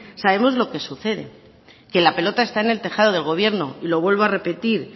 sabemos lo que sucede que la pelota está en el tejado del gobierno lo vuelvo a repetir